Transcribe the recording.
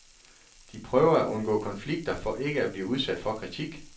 De prøver at undgå konflikter for ikke at blive udsat for kritik.